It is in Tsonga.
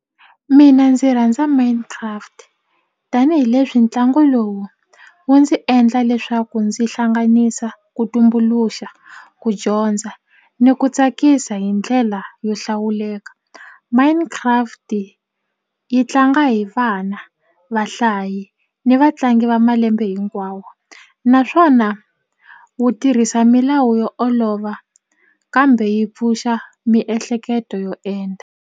Mina ndzi rhandza Mine Craft tanihileswi ntlangu lowu wu ndzi endla leswaku ndzi hlanganisa ku tumbuluxa ku dyondza ni ku tsakisa hi ndlela yo hlawuleka Mine Craft yi tlanga hi vana vahlayi ni vatlangi va malembe hinkwawo naswona wu tirhisa milawu yo olova kambe yi pfuxa miehleketo yo endla.